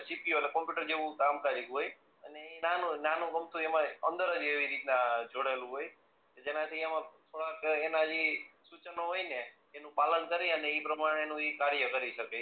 CPU એટલે computer જેવું કામ કરીતુ હોય અને એ નાનું નાનું બોક્સ હોય એમાં અંદર જ એવી રીતના જોડાયેલું હોય જેમાં થી એમાં થોડાક એના જી સૂચનો હોય ને એનું પાલન કરી અને એ પ્રમાણ નું કાર્ય કરી શકે.